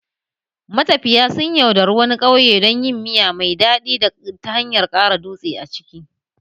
Matafiya sun yaudare wani ƙauye don yin miya mai daɗi ta hanyar ƙara dutse a ciki